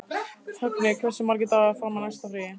Högni, hversu margir dagar fram að næsta fríi?